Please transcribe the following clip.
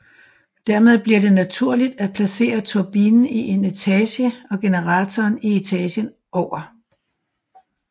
Dermed bliver det naturlig at placere turbinen i en etage og generatoren i etagen over